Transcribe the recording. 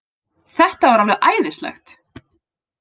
Þetta var alveg æðislegt